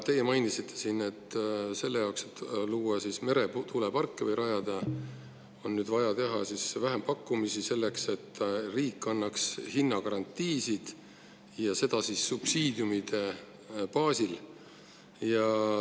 Teie mainisite siin, et selle jaoks, et rajada meretuuleparke, on vaja teha vähempakkumisi selleks, et riik annaks hinnagarantiisid, ja seda subsiidiumide baasil.